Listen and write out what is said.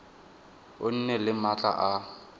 o nne le maatla a